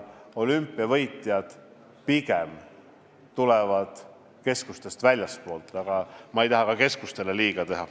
Olümpiavõitjad tulevad pigem keskustest väljastpoolt, aga ma ei taha ka keskustele liiga teha.